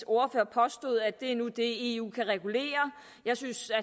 ordfører påstod at det nu er det eu kan regulere jeg synes at